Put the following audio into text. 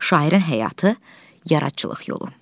Şairin həyatı, yaradıcılıq yolu.